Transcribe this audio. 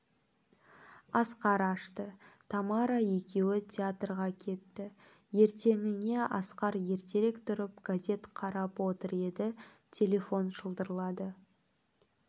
асқар ашты тамара екеуі театрға кетті ертеңіне асқар ертерек тұрып газет қарап отыр еді телефон шылдырлады